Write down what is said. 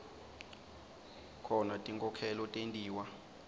khona tinkhokhelo tentiwa